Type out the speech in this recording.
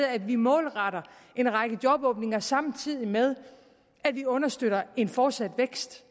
at vi målretter en række jobåbninger samtidig med at vi understøtter en fortsat vækst